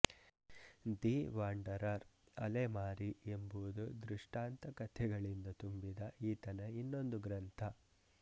the wanderer ಅಲೆಮಾರಿ ಎಂಬುದು ದೃಷ್ಟಾಂತ ಕಥೆಗಳಿಂದ ತುಂಬಿದ ಈತನ ಇನ್ನೊಂದು ಗ್ರಂಥ